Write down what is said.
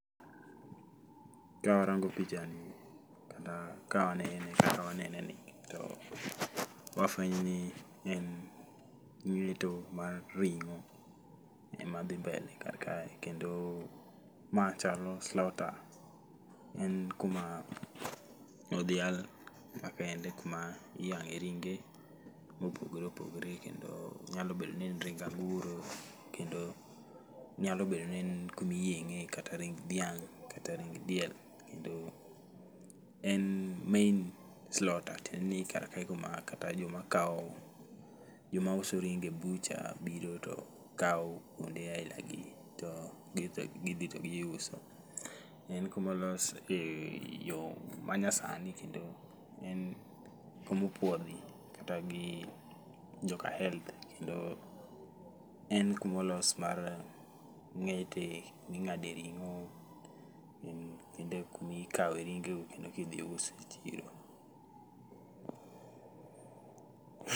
Kawarango pichani kata ka wanene kaka wanene ni wafwenyo ni en ngeto mar ringo ema dhi mbele kae, kendo ma chalo slaughter, en kuma odhial makende miyange ringe mopogore opogore kendo nyalo bedo ni en ring anguro kendo nyalo bedo ni en kuma iyenge kata ring dhiang, kata ring diel. En main slaughter tiendeni kar kae kata joma kao, joma uso ringo e butcher[sc] biro to kao kuonde aila gi to gidhi to giuso. En kuma olos gi yoo manyasani kendo en kuma opuodhi kata gi joka health kendo en kuma olos mar ngete, kuma ingade ringo kendo kuma ikawe ringo kidhi us e chiro